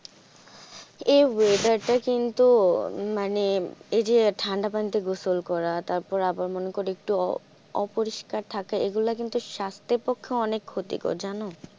এই weather টা কিন্তু মানে এই যে ঠান্ডা পানিতে গোসল করা তারপর আবার মনে করো একটু অপরিষ্কার থাকা এগুলা কিন্তু স্বাস্থ্যের পক্ষে অনেক ক্ষতিকর জানো ।